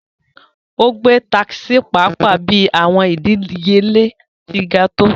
O gbe takisi paapaa bi awọn idiyele ti ga to